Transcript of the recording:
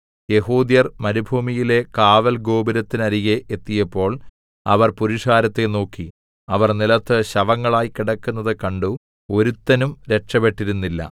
യെഹൂദ്യർ മരുഭൂമിയിലെ കാവൽഗോപുരത്തിനരികെ എത്തിയപ്പോൾ അവർ പുരുഷാരത്തെ നോക്കി അവർ നിലത്ത് ശവങ്ങളായി കിടക്കുന്നത് കണ്ടു ഒരുത്തനും രക്ഷപെട്ടിരുന്നില്ല